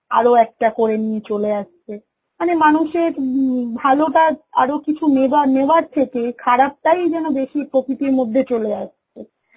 আরও একটা করে নিয়ে চলে আসছে। মানে মানুষের উম ভালোটা আরো কিছু নেবার নেওয়ার থেকে খারাপটাই যেন বেশি প্রকৃতির মধ্যে চলে আসছে